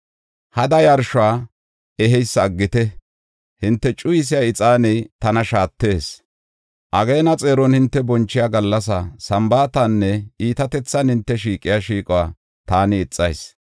Hada yarshuwa eheysa aggite! Hinte cuyisiya ixaaney tana shaattees. Ageena xeeron hinte bonchiya gallasa, Sambaatanne iitatethan hinte shiiqiya shiiquwa taani ixayis.